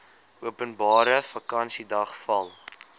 openbare vakansiedag val